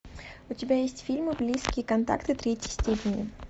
у тебя есть фильм близкие контакты третьей степени